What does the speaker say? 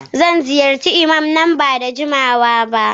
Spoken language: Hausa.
Zan ziyarci Iman nan ba da jimawa ba